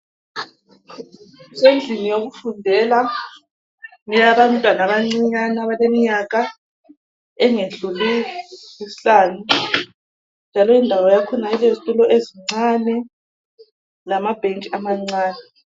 Kusendlini yokufundela eyabantwana abancinyane abaleminyaka engedluli isihlanu. Lalendawo yakhona ilezitulo ezincane lamabhentshi amancane.